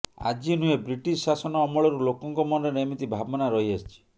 ଆଜି ନୁହେଁ ବ୍ରିଟିଶ ଶାସନ ଅମଳରୁ ଲୋକଙ୍କ ମନରେ ଏମିତି ଭାବନା ରହି ଆସିଛି